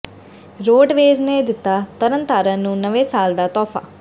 roadways ਨੇ ਦਿੱਤਾ ਤਰਨਤਾਰਨ ਨੂੰ ਨਵੇਂ ਸਾਲ ਦਾ ਤੋਹਫ਼ਾ